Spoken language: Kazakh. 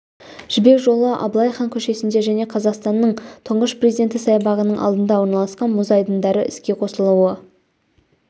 жібек жолы абылай хан көшесінде және қазақстанның тұңғыш президенті саябағының алдында орналасқан мұз айдындардың іске қосылуы